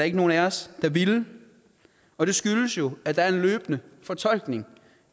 ikke nogen af os der ville og det skyldes jo at der er en løbende fortolkning